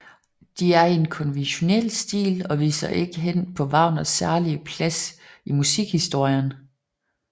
De er i en konventionel stil og viser ikke hen på Wagners særlige plads i musikhistorien